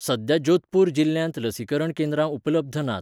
सद्या जोधपूर जिल्ल्यांत लसीकरण केंद्रां उपलब्ध नात.